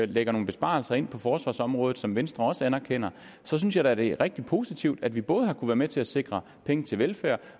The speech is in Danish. lægger nogle besparelser ind på forsvarsområdet som venstre også anerkender så synes jeg da det er rigtig positivt at vi både har kunnet være med til at sikre penge til velfærd